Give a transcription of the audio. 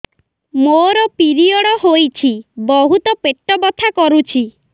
ମୋର ପିରିଅଡ଼ ହୋଇଛି ବହୁତ ପେଟ ବଥା କରୁଛି